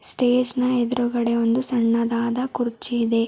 Stage ನ ಎದುರುಗಡೆ ಒಂದು ಸಣ್ಣದಾದ ಕುರ್ಚಿ ಇದೆ.